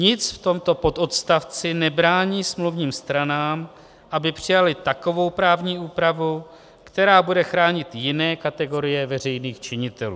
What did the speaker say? Nic v tomto pododstavci nebrání smluvním stranám, aby přijaly takovou právní úpravu, která bude chránit jiné kategorie veřejných činitelů.